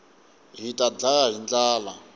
hita ndlaya hi ndlala